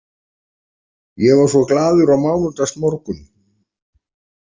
Ég var svo glaður á mánudagsmorgun.